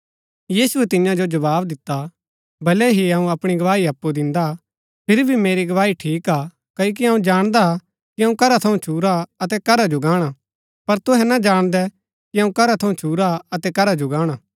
यीशुऐ तियां जो जवाव दिता भलै ही अऊँ अपणी गवाही अप्पु दिन्दा फिरी भी मेरी गवाही ठीक हा क्ओकि अऊँ जाणदा कि अऊँ करा थऊँ छुरा अतै करा जो गाणा पर तूहै ना जाणदै कि अऊँ करा थू छुरा अतै करा जो गाणा